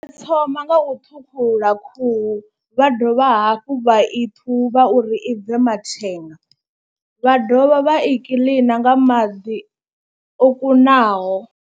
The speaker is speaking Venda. U thoma nga u thukhula khuhu vha dovha hafhu vha i ṱhuvha uri i bve mathenga vha dovha vha i kiḽina nga maḓi o kunaho.